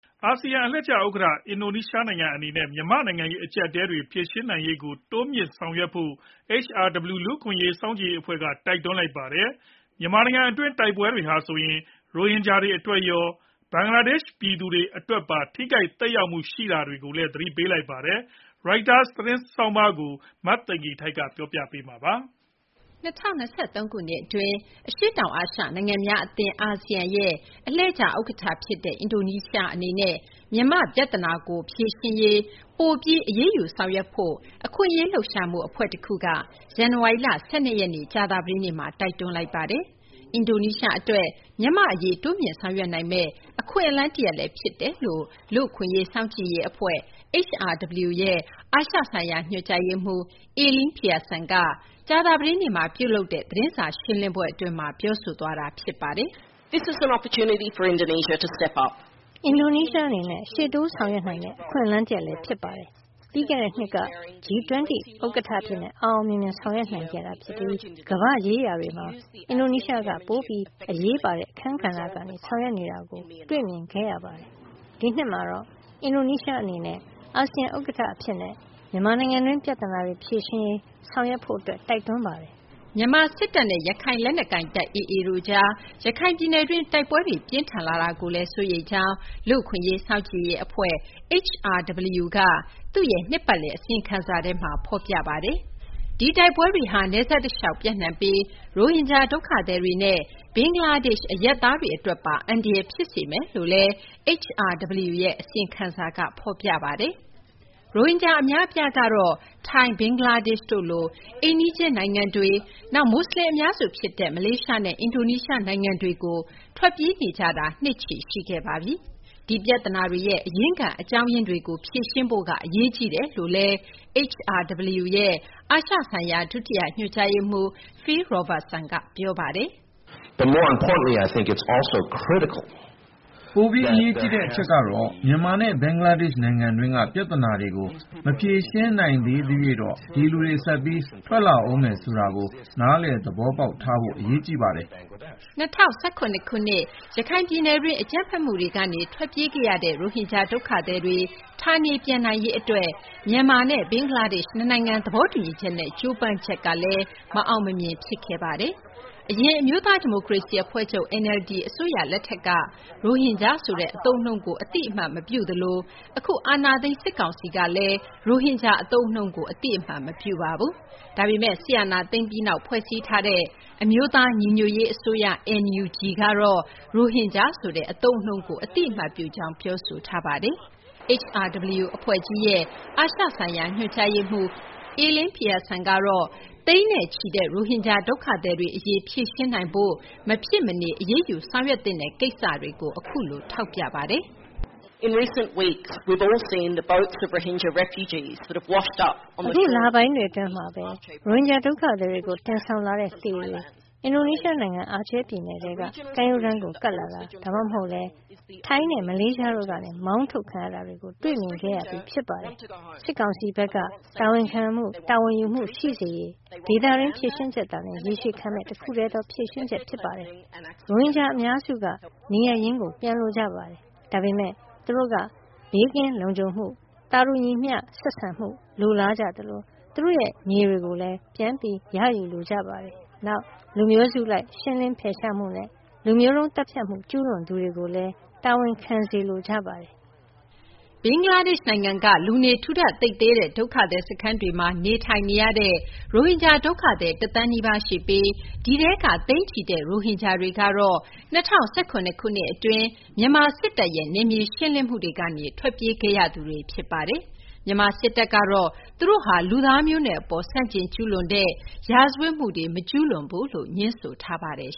အာဆီယံအလှည့်ကျဥက္ကဋ္ဌ အင်ဒိုနီးရှားနိုင်ငံအန ဲ့ မြန်မာ့နိုင်ငံရေးအကြပ်အတည်းတွေ ဖြေရှင်းနိုင်ရေးကိုတိုးမြှင့်ဆောင်ရွက်ဖို့ HRW လူ့အခွင့်အရေး စောင့်ကြည့်ရေးအဖွဲ့က တိုက်တွန်းလိုက်ပါတယ်။ မြန်မာနိုင်ငံတွင်း တိုက်ပွဲတွေဟာဆိုရင် ရိုဟင်ဂျာတွေအတွက်ရော ဘင်္ဂလားဒေ့ရှ် ပြည်သူတွေအတွက်ပါ ထိခိုက်သက်ရောက်မှုရှိနေတာကိုလည်း သတိပေးလိုက်ပါတယ်။ Reuters သတင်းဆောင်းပါးကို မသိင်္ဂီထိုက်က တင်ပြပေးထားပါတယ်။ ၂၀၂၃ ခုနှစ်အတွင်း အရှေ့တောင်အာရှနိုင်ငံများအသင်း အာဆီယံရဲ့အလှည့်ကျဥက္ကဋ္ဌဖြစ်တဲ့ အင်ဒိုနီးရှားအနေနဲ့ မြန်မာပြဿနာကိုဖြေရှင်းရေး ပိုပြီးအရေးယူဆောင်ရွက်ဖို့ အခွင့်အရေးလှုပ်ရှားမှုအဖွဲ့ တခုက ဇန်နဝါရီလ ၁၂ ရက် ကြာသပတေးနေ့မှာ တိုက်တွန်းလိုက်ပါတယ်။ အင်ဒိုနီးရှားအတွက် မြန်မာ့အရေးတိုးမြှင့်ဆောင်ရွက်နိုင်မယ့် အခွင့်အလမ်းတရပ်လည်း ဖြစ်တယ်လို့ လူ့အခွင့်အရေးစောင့်ကြည့်ရေးအဖွဲ့ HRW ရဲ့အာရှဆိုင်ရာညွှန်ကြားရေးမှူး Elaine Pearson က ကြာသပတေးနေ့မှာပြုလုပ်တဲ့ သတင်းစာရှင်းလင်းပွဲအတွင်းမှာ ပြောသွားတာဖြစ်ပါတယ်။ “အင်ဒိုနီးရှားအနေနဲ့ ရှေ့တိုးဆောင်ရွက်နိုင်မယ့် အခွင့်အလမ်းတရပ်လည်း ဖြစ်ပါတယ်။ ပြီးခဲ့တဲ့နှစ်က G20 ဥက္ကဋ္ဌအဖြစ် အောင်အောင်မြင်မြင် ဆောင်ရွက်နိုင်ခဲ့ပြီး ကမ္ဘာ့ရေးရာတွေမှာ အင်ဒိုနီးရှားက ပိုပြီးအရေးပါတဲ့အခန်းကဏ္ဍကနေ ဆောင်ရွက်နေတာကို တွေ့မြင်ခဲ့ရပါတယ်။ ဒီနှစ်မှာတော့ အင်ဒိုနီးရှားအနေနဲ့ အာဆီယံဥက္ကဋ္ဌအဖြစ်နဲ့ မြန်မာနိုင်ငံတွင်း ပြသနာတွေဖြေရှင်းနိုင်ရေး ဆောင်ရွက်ဖို့ တိုက်တွန်းပါတယ်။” မြန်မာစစ်တပ်နဲ့ ရခိုင်လက်နက်ကိုင်တပ် AA တို့ကြား ရခိုင်ပြည်နယ်တွင်း တိုက်ပွဲတွေပြင်းထန်လာတာကိုလည်း စိုးရိမ်ကြောင်း လူ့အခွင့်အရေး စောင့်ကြည့်ရေးအဖွဲ့ HRW က သူ့ရဲ့ နှစ်ပတ်လည်အစီရင်ခံစာထဲမှာ ဖော်ပြထားပါတယ်။ ဒီတိုက်ပွဲတွေဟာ နယ်စပ်တလျှောက် ပျံ့နှံ့ပြီး ရိုဟင်ဂျာဒုက္ခသည်တွေနဲ့ ဘင်္ဂလားဒေ့ရှ်အရပ်သားတွေအတွက်ပါ အန္တရာယ်ဖြစ်စေမယ်လို့လည်း HRW ရဲ့ အစီရင်ခံစာက ဖော်ပြပါတယ်။ ရိုဟင်ဂျာအများအပြားကတော့ ထိုင်း၊ ဘင်္ဂလားဒေ့ရှ်တို့လို အိမ်နီးချင်းနိုင်ငံတွေ၊ နောက် မူဆလင် အများစုဖြစ်တဲ့ မလေးရှားနဲ့ အင်ဒိုနီးရှားနိုင်ငံတွေကို ထွက်ပြေးနေကြတာ နှစ်ချီရှိခဲ့ပါပြီ။ ဒီပြဿနာတွေရဲ့အရင်းခံ အကြောင်းရင်းတွေကို ဖြေရှင်းဖို့ကအရေးကြီးတယ်လို့လည်း HRW ရဲ့ အာရှဆိုင်ရာ ဒုတိယညွှန်ကြားရေးမှူး Phil Robertson က ပြောပါတယ်။ “ပိုပြီး အရေးကြီးတဲ့အချက်ကတော့ မြန်မာနဲ့ ဘင်္ဂလားဒေ့ရှ်နိုင်ငံတွင်းက ပြဿနာတွေကို မဖြေရှင်းနိုင်သရွေ့တော့ ဒီလူတွေ ဆက်ပြီးထွက်လာဦးမယ်ဆိုတာကို နားလည်သဘောပေါက်ထားဖို့က အရေးကြီးပါတယ်။” ၂၀၁၇ ခုနှစ် ရခိုင်ပြည်နယ်တွင်း အကြမ်းဖက်မှုတွေကနေထွက်ပြေးခဲ့ရတဲ့ ရိုဟင်ဂျာဒုက္ခသည်တွေ ဌာနေပြန်နိုင်ရေးအတွက် မြန်မာနဲ့ဘင်္ဂလားဒေ့ရှ် နှစ်နိုင်ငံသဘောတူညီချက်နဲ့ ကြိုးပမ်းချက်လည်း မအောင်မမြင် ဖြစ်ခဲ့ပါတယ်။ အရင် အမျိုးသားဒီမိုကရေစီအဖွဲ့ချုပ် NLD အစိုးရလက်ထက်ကလည်း ရိုဟင်ဂျာဆိုတဲ့အသုံးအနှုန်းကို အသိအမှတ်မပြုသလို အခု အာဏာသိမ်း စစ်ကောင်စီကလည်း ရိုဟင်ဂျာအသုံးအနှုန်းကို အသိအမှတ် မပြုပါဘူး။ ဒါပေမဲ့ စစ်အာဏာသိမ်းပြီးနောက် ဖွဲ့စည်းထားတဲ့ အမျိုးသားညီညွတ်ရေးအစိုးရ NUG ကတော့ ရိုဟင်ဂျာဆိုတဲ့အသုံးအနှုန်းကို အသိအမှတ်ပြုကြောင်း ပြောဆိုထားပါတယ်။ HRW အဖွဲ့ကြီးရဲ့ အာရှ ဆိုင်ရာ ညွှန်ကြားရေးမှူး Elaine Peason ကတော့ သိန်းချီတဲ့ ရိုဟင်ဂျာဒုက္ခသည်အရေး ဖြေရှင်းနိုင်ရေးအတွက် မဖြစ်မနေ အရေးယူဆောင်ရွက်သင့်တဲ့ကိစ္စတွေကို အခုလို ထောက်ပြပါတယ်။ “ဒီလပိုင်းတွေအတွင်းမှာပဲ ရိုဟင်ဂျာဒုက္ခသည်တွေကို တင်ဆောင်လာတဲ့လှေတွေ အင်ဒိုနီးရှားနိုင်ငံ အာချေးပြည်နယ်တွင်းကကမ်းရိုးတန်းကို ကပ်လာတာတွေ၊ ဒါမှမဟုတ်လည်း ထိုင်းနဲ့ မလေးရှားတို့ကနေ မောင်းထုတ်ခံရတာတွေ တွေ့မြင်ခဲ့ရပြီး ဖြစ်ပါတယ်။ စစ်ကောင်စီဘက်က တာဝန်ခံမှု၊ တာဝန်ယူမှုရှိစေရေး ဒေသတွင်း ဖြေရှင်းချက်သာလျင် ရေရှည်ခံမယ့် တခုတည်းသော ဖြေရှင်းချက်ဖြစ်ပါတယ်။ ရိုဟင်ဂျာအများစုက နေရပ်ရင်းကို ပြန်လိုကြပါတယ်။ ဒါပေမဲ့ သူတို့က ဘေးကင်းလုံခြုံမှု၊ သာတူညီမျှဆက်ဆံမှု လိုလားကြသလို သူတို့ရဲ့မြေတွေ ပြန်လည်ရယူလိုကြပါတယ်။ နောက် လူမျိုးစုလိုက် ရှင်းလင်းဖယ်ရှားမှုနဲ့ လူမျိုးတုံးသတ်ဖြတ်မှု ကျူးလွန်သူတွေကိုလည်း တာဝန်ခံစေလိုကြပါတယ်။ ဘင်္ဂလားဒေ့ရှ်နိုင်ငံက လူနေထူထပ်သိပ်သည်းတဲ့ ဒုက္ခသည်စခန်းတွေမှာ နေထိုင်နေရတဲ့ ရိုဟင်ဂျာဒုက္ခသည် ၁ သန်းနီးပါး ရှိပြီး ဒီထဲက သိန်းချီတဲ့ ရိုဟင်ဂျာတွေကတော့ ၂၀၁၇ ခုနှစ်အတွင်း မြန်မာစစ်တပ်ရဲ့နယ်မြေရှင်းလင်းမှုတွေကနေ ထွက်ပြေးခဲ့ကြရသူတွေ ဖြစ်ပါတယ်။ မြန်မာစစ်တပ်ကတော့ သူတို့ဟာ လူသားမျိုးနွယ်အပေါ် ဆန့်ကျင်ကျူးလွန်တဲ့ရာဇဝတ်မှုတွေ မကျူးလွန်ကြောင်း ငြင်းဆိုထားပါတယ်